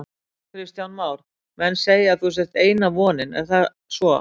Kristján Már: Menn segja að þú sért eina vonin, er það svo?